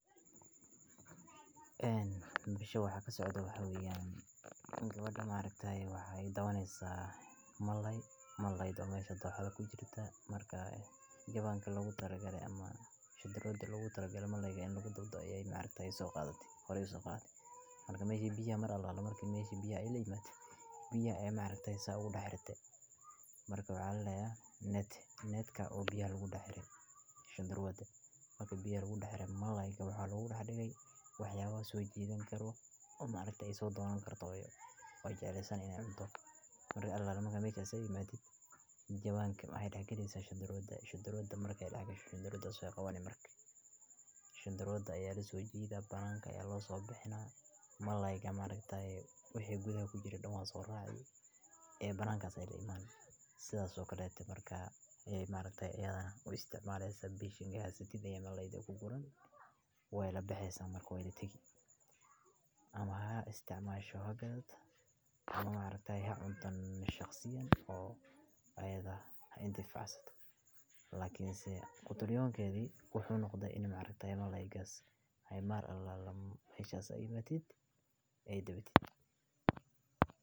Haweeneyda bisha waxa ka socda waxyaabiyen gabadha maareeyta ah ay dawaneysa malay, malayd u maysha toosha ku jirta markaa jawaankii loogu tara galay ammaan shida gaariga lagu taragela malayga in lagu daw doo ayay maareeyta soo qaadati horay u soo qaadi. Marka may shi biyo mar alaala markay may shi biyo ay leeymaad. Biyo ayee maareeyta in sa u dhaxirta markaa waxaa layahay net. Netka oo biyo lagugu dhaxay shan darowada. Marka biyo lagu dhaqay malayga waxaa loogu dhagay waxyaabo soo jiidan karwa oo maalinta isoo dawo karto iyo waaya jecelsen in aan cunto. Markii Allah lama haysa sayni maatid. Jawaankii ah hay dhakaniisa shan darowda, shan darowda marka ay dhagasho shan darawda soo qabaan markii. Shan daroodu ayaa la soo jeeda ballaanka ayaa loo soo baxnaa malayga maalinta ay u gudaan ku jira dhawaan soo raadin ee ballaankaas ay leeymaan sidaas oo kala duwaa markaa ay maalintii aadan u isticmaalaya sabab shingaasatida iyo malayga ku guuleyn way la baxeesan markuu way dhetegi ama ha isticmaasho hagad maalintii ha cuntoon nashakhiyan oo ayada intee fasado lakiinse kutu lyoonkeedu wuxuu noqday in maalinta malayga ay maar allaala hayshaa sayni maatid ay dawatid.